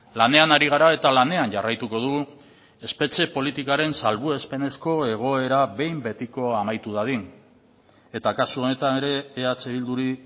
lanean ari gara eta lanean jarraituko dugu espetxe politikaren salbuespenezko egoera behin betiko amaitu dadin eta kasu honetan ere eh bilduri